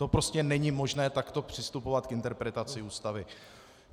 To prostě není možné takto přistupovat k interpretaci Ústavy.